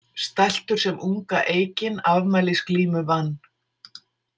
Stæltur sem unga eikin afmælisglímu vann.